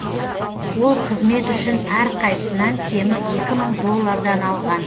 ол қызмет үшін әрқайсынан кемі екі мың доллардан алған